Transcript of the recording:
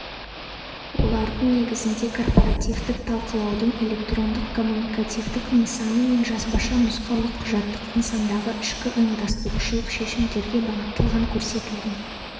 олардың негізінде корпоративтік талқылаудың электрондық-коммуникативтік нысаны мен жазбаша нұсқаулық құжаттық нысандағы ішкі ұйымдастырушылық шешімдерге бағыттылған көрсетілген